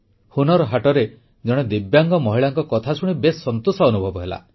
ହୁନର୍ ହାଟରେ ଜଣେ ଦିବ୍ୟାଙ୍ଗ ମହିଳାଙ୍କ କଥାଶୁଣି ଖୁବ ସନ୍ତୋଷ ଅନୁଭବ ହେଲା